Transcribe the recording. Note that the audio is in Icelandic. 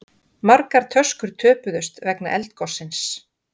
Margar töskur töpuðust vegna eldgossins